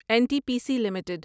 N T P C limited